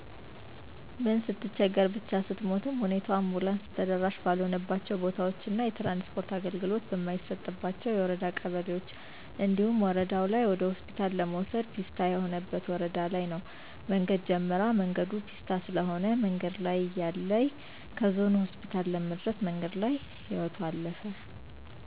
ምን ስትቸገር ብቻ ስሞትም ሁኔታው አንቡላንስ ተደራሺ ባልሆነባቸው ቦታዎች እና የትራንስፖርት አገልግሎት በማይሰጥባቸው የወረዳ ቀበሌዎች እንዲሁም ወረደው ላይ ወደሆስፒታል ለመውሰድ ፔስታ የሆነበት ወረዳ ለይ ነው መንገድ ጀምራ መንገዱ ፔስታ ስለሆነ መንገድ ላይ እያለይ ከዞኑ ሆስፒታል ለመድረስ መንገድ ላይ ህይወቶ አለፈ።